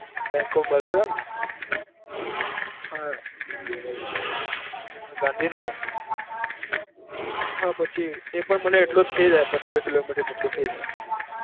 bank of Baroda ને હા, ગાંધીનગર હા પછી એ પણ મને એટલું થઇ જાય પંદર kilo mater જેટલું થઇ જાય.